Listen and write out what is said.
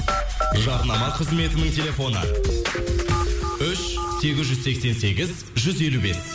жарнама қызметінің телефоны үш сегіз жүз сексен сегіз жүз елу бес